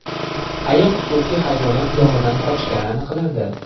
Ayiq xususiy hayvonot bog‘idan qochgani aniqlandi.